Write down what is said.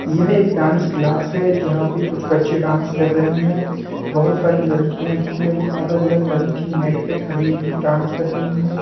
यह एक dance class है जहा पे कुछ बच्चे डांस कर रहे हैं बहुत सारी लड़कियां जो है वो अलग-अलग रंग की मेट पे खड़ी हुई डांस कर रही है।